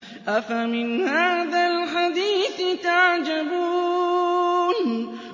أَفَمِنْ هَٰذَا الْحَدِيثِ تَعْجَبُونَ